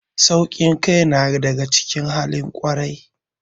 Ƙasƙantar da kai na daga cikin halin ƙwarai.